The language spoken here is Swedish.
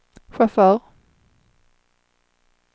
chaufför